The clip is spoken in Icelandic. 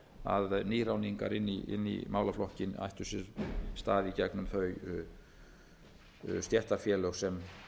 nýráðningar inn í málaflokkinn ættu sér stað í gegnum þau stéttarfélög sem